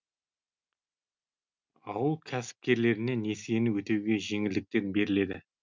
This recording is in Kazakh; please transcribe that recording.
ауыл кәсіпкерлеріне несиені өтеуге жеңілдіктер беріледі